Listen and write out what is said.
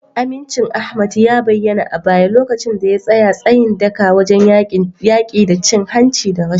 Amincin Ahmad ya bayyana a baya lokacin da ya tsaya tsayin daka wajen yaki da cin hanci da rashawa.